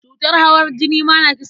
Cutar hawan jini ma na kisa.